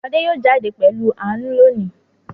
Adé yóò jáde pẹ̀lú Àánú lónìí